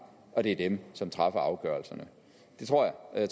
og det er dem som træffer afgørelserne det tror jeg